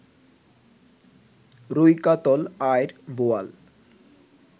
রুই, কাতল, আইড়, বোয়াল